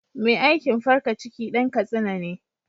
Mai aikin farka ciki Dan katsina ne.